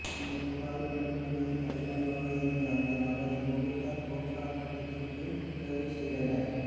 இந்த புகாரின் அடிப்படையில் தலைமறைவாக இருந்த அந்த நபரை போலீசார் போக்சா சட்டத்தின் கீழ் கைது செய்தனர்